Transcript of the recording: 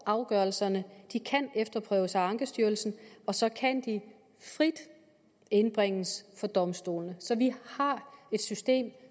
afgørelserne kan efterprøves af ankestyrelsen og så kan de frit indbringes for domstolene så vi har et system